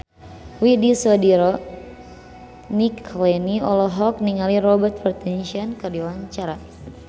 Widy Soediro Nichlany olohok ningali Robert Pattinson keur diwawancara